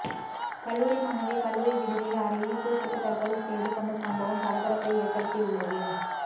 கல்லூரி மாணவி கல்லூரி விடுதியில் அறையில் தூக்கிட்டு தற்கொலை செய்துகொண்ட சம்பவம் பரபரப்பை ஏற்படுத்தியுள்ளது